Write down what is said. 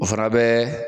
O fana bɛ